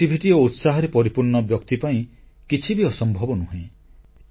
ସକାରାତ୍ମକତା ଓ ଉତ୍ସାହରେ ପରିପୂର୍ଣ୍ଣ ବ୍ୟକ୍ତି ପାଇଁ କିଛି ବି ଅସମ୍ଭବ ନୁହେଁ